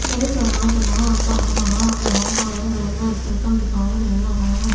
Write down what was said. यहां पर एक रेलवे स्टेशन दिखाई दे रहा है।